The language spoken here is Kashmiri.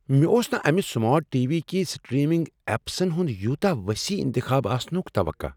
مےٚ اوس نہٕ امہِ سمارٹ ٹی۔ وی كہِ سٹریمِنگ ایپسن ہُند یوتاہ وسیع انتخاب آسنٗك توقع ۔